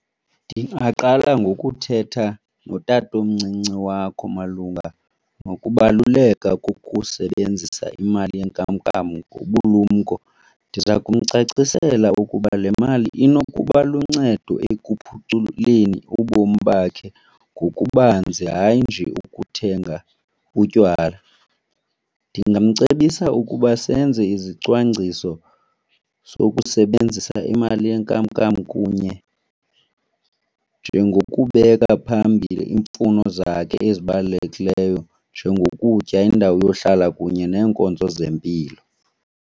Ndingaqala ngokuthetha notatomncinci wakho malunga nokubaluleka kokusebenzisa imali yenkamnkam ngobulumko. Ndiza kumcacisela ukuba le mali inokuba luncedo ekuphuculeni ubomi bakhe ngokubanzi, hayi nje ukuthenga utywala. Ndingamcebisa ukuba senze izicwangciso sokusebenzisa imali yenkamnkam kunye, njengokubeka phambili iimfuno zakho ezibalulekileyo, njengokutya, indawo yohlala kunye neenkonzo zempilo.